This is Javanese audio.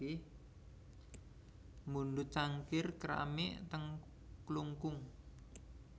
Mundhut cangkir keramik ten Klungkung